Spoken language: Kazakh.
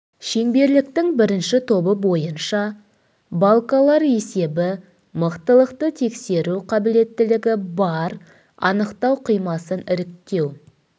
шеңберліктің бірінші тобы бойынша балкалар есебі мықтылықты тексеру қабілеттілігі бар анықтау қимасын іріктеу